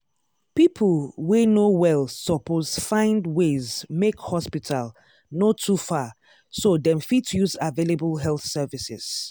people wey no well suppose find ways make hospital no too far so dem fit use available health services.